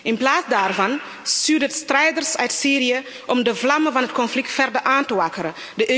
In plaats daarvan stuurt het strijders uit Syrië om de vlammen van het conflict verder aan te wakkeren.